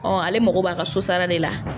Ɔ ale mako b'a ka so sara de la.